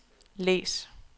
læs